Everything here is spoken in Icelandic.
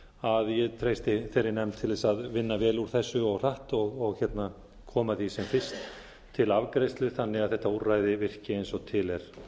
að ég treysti þeirri nefnd til þess að vinna vel úr þessu og hratt og koma því sem fyrst til afgreiðslu þannig að þetta úrræði virki eins og til er